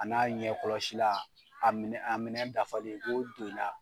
A n'a ɲɛ kɔlɔsi la, a minɛ a minɛn dafalen i b'o don i la